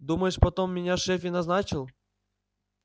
думаешь потом меня шеф и назначил